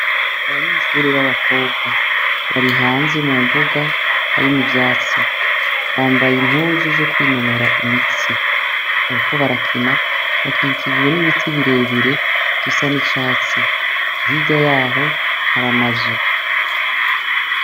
Abanyishure b'abakobwa bari hanzi mu mbuga harimo ivyatsi bambaye impuzu zo kwinonora imitsi, ariko barakina bakikirijwe n'ibiti birebire bisa n'icatsi kirya yaho haramazu.